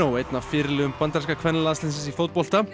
einn af fyrirliðum bandaríska kvennalandsliðsins í fótbolta